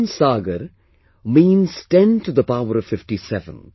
One saagar means 10 to the power of 57